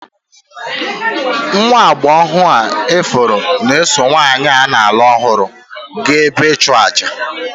Nwa agbọghọ ifuru na-eso nwanyị a na-alụ ọhụrụ gaa ebe ịchụàjà.